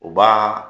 U b'a